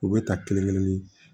U bɛ ta kelen kelen di